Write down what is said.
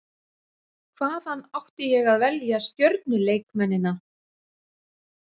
Hvaðan átti ég að velja stjörnuleikmennina?